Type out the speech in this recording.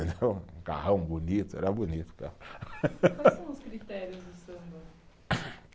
Um carrão bonito, era bonito o carro. Quais são os critérios do samba?